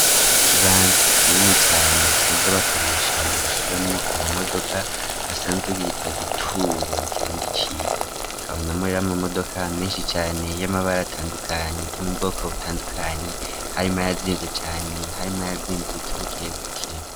Ikibanza kinini cane basanzwe bakoresha mu gushiramwo ama modoka basanzwe bitwa gituro mu kirundi ciza kabonamwo rero ama modoka menshi cane y'amabara atandukanye yo mu bwoko butandukanye harimwo ayazimbutse cane harimwo yazimbutse bukebuke.